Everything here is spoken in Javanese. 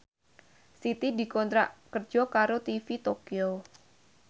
Siti dikontrak kerja karo TV Tokyo